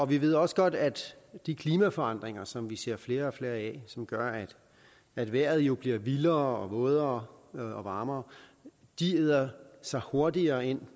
vi ved også godt at de klimaforandringer som vi ser flere og flere af som gør at vejret jo bliver vildere vådere og varmere æder sig hurtigere ind